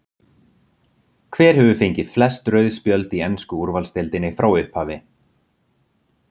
Hver hefur fengið flest rauð spjöld í ensku úrvalsdeildinni frá upphafi?